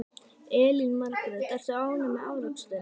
Elín Margrét: Ertu ánægður með afraksturinn?